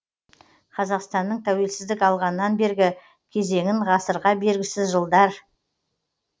қазақстанның тәуелсіздік алғаннан бергі кезеңін ғасырға бергісіз жылдар мен